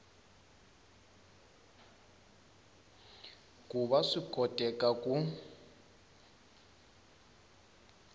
ku va swi koteka ku